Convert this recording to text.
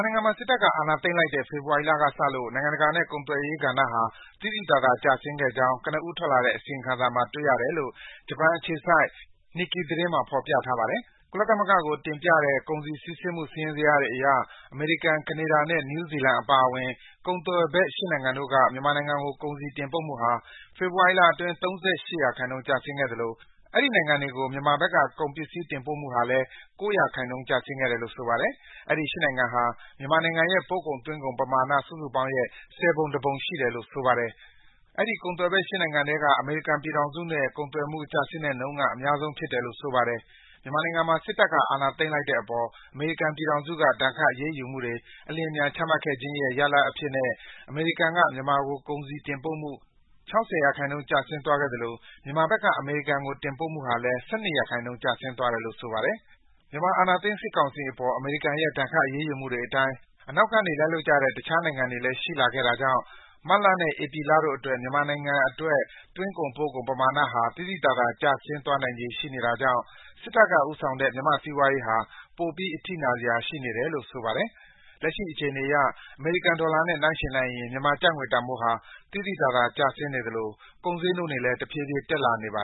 နိုင်ငံမှာ စစ်တပ်က အာဏာသိမ်းလိုက်တဲ့ ဖေဖော်ဝါရီလက စလို့ နိုင်ငံတကာနဲ့ ကုန်သွယ်ရေးကဏ္ဍဟာ သိသိသာသာ ကျဆင်းခဲ့ကြောင်း ကနဦးထွက်လာတဲ့ အစီရင်ခံစာမှာ တွေ့ရကြောင်း ဂျပန်အခြေစိုက် Nikkei သတင်းမှာ ဖော်ပြထားပါတယ်။ ကုလသမဂ္ဂကို တင်ပြတဲ့ ကုန်စည်စီးဆင်းမှု စာရင်းဇယားတွေအရ အမေရိကန်၊ ကနေဒါနဲ့ နယူးဇီလန်အပါအဝင် ကုန်သွယ်ဖက် ၈ နိုင်ငံတို့က မြန်မာနိုင်ငံကို ကုန်စည်တင်ပို့မှုဟာ ဖေဖော်ဝါရီအတွင်း ၃၈% ကျဆင်းခဲ့သလို အဲဒီ နိုင်ငံတွေကို မြန်မာဘက်က ကုန်ပစ္စည်း တင်ပို့မှုဟာလည်း ၉% ကျဆင်းခဲ့တယ်လို့ ဆိုပါတယ်။ အဲဒီ ၈ နိုင်ငံဟာ မြန်မာနိုင်ငံရဲ့ ပို့ကုန်၊ သွင်းကုန်ပမာဏ စုစုပေါင်းရဲ့ ၁၀ ပုံ ၁ ပုံ ရှိတယ်လို့ ဆိုပါတယ်။ အဲဒီ ကုန်သွယ်ဖက် ၈ နိုင်ငံထဲက အမေရိကန်ပြည်ထောင်စုနဲ့ ကုန်သွယ်မှုနဲ့ ကျဆင်းတဲ့နှုန်းက အများဆုံးဖြစ်တယ်လို့ ဆိုပါတယ်။ မြန်မာနိုင်ငံမှာ စစ်တပ်က အာဏာသိမ်းလိုက်တဲ့အပေါ် အမေရိကန်ပြည်ထောင်စုက ဒဏ်ခတ် အရေးယူမှုတွေ အလျင်အမြန် ချမှတ်ခဲ့ခြင်းရဲ့ ရလဒ်အဖြစ်နဲ့ အမေရိကန်က မြန်မာကို ကုန်စည် တင်ပို့မှု ၆၀% ကျဆင်းသွားခဲ့သလို မြန်မာဘက်က အမေရိကန်ကို တင်ပို့မှုဟာလည်း ၁၂% ကျဆင်းသွားတယ်လို့ ဆိုပါတယ်။ မြန်မာအာဏာသိမ်း စစ်ကောင်စီအပေါ် အမေရိကန်ရဲ့ ဒဏ်ခတ် အရေးယူမှုတွေအတိုင်း အနောက်ကနေ လိုက်လုပ်ကြတဲ့ တခြားနိုင်ငံတွေလည်း ရှိလာခဲ့တာကြောင့် မတ်လနဲ့ ဧပြီလတို့အတွက် မြန်မာနိုင်ငံအတွက် သွင်းကုန်၊ ပို့ကုန် ပမာဏဟာ သိသိသာသာ ထပ်မံကျဆင်းသွားနိုင်ခြေ ရှိနေတာကြောင့် စစ်တပ်က ဦးဆောင်နေတဲ့ မြန်မာ့စီးပွားရေးဟာ ပိုပြီး အထိနာစရာ ရှိနေတယ်လို့ ဆိုပါတယ်။ လက်ရှိအခြေအနေအရ အမေရိကန်ဒေါ်လာနဲ့ ယှဉ်လိုက်ရင် မြန်မာကျပ်ငွေတန်ဖိုးဟာ သိသိသာသာ ကျဆင်းနေသလို ကုန်ဈေးနှုန်းတွေလည်း တဖြည်းဖြည်း တက်လာနေပါ